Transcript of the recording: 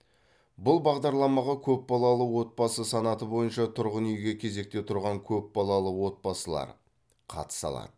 бұл бағдарламаға көпбалалы отбасы санаты бойынша тұрғын үйге кезекте тұрған көпбалалы отбасылар қатыса алады